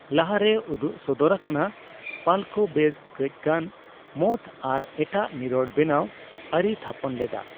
ᱞᱟᱦᱟᱨᱮ ᱩᱫᱩᱜ ᱥᱚᱫᱚᱨ ᱟᱠᱟᱱᱟ, ᱯᱟᱞᱠᱚ ᱵᱮᱥ ᱠᱟᱹᱪᱜᱟᱱ ᱢᱚᱴᱷ ᱟᱨ ᱮᱴᱟᱜ ᱱᱤᱨᱚᱲ ᱵᱮᱱᱟᱣ ᱟᱹᱨᱤᱭ ᱛᱷᱟᱯᱚᱱ ᱞᱮᱫᱟ ᱾